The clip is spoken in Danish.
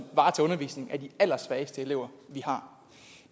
varetager undervisningen af de allersvageste elever